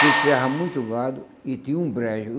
que criava muito gado e tinha um brancho.